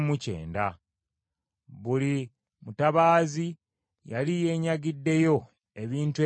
Buli mutabaazi yali yeenyagiddeyo ebintu ebibye ku bubwe.